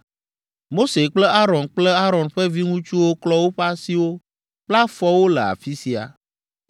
Mose kple Aron kple Aron ƒe viŋutsuwo klɔ woƒe asiwo kple afɔwo le afi sia.